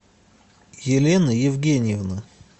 елены евгеньевны